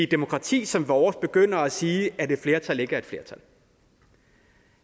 demokrati som vores begynder at sige at et flertal ikke er et flertal